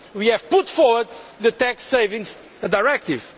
We have put forward the tax savings directive.